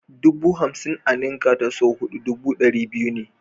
Dubu hamsin a ninka ta sau huɗu dubu ɗari biyu ne.